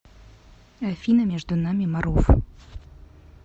афина между нами марув